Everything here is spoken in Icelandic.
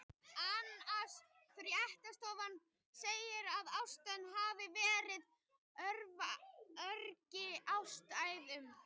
ANSA fréttastofan segir að ástæðan hafi verið af öryggisástæðum.